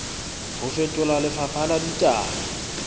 ho fetola lefapha la ditaba